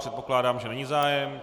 Předpokládám, že není zájem.